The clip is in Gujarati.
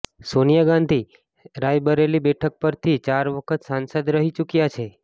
સોનિયા ગાંધી રાયબરેલી બેઠક પરથી ચાર વખત સાંસદ રહી ચુક્યા છે